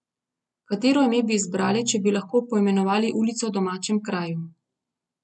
Katero ime bi izbrali, če bi lahko poimenovali ulico v domačem kraju?